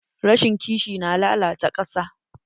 Rashin ƙishi na lalata ƙasa.